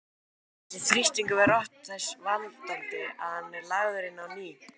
Þessi þrýstingur verður oft þess valdandi að hann er lagður inn á ný.